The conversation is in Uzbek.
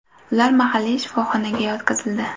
Ular mahalliy shifoxonaga yetkazildi.